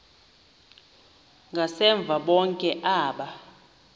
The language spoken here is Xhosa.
ngasemva bonke aba